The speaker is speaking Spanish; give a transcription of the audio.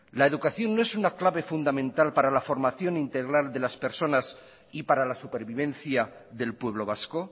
la educación no es una clave fundamental para la formación integral de las personas y para la supervivencia del pueblo vasco